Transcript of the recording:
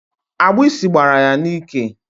Agbịsị gbara ya n'ike.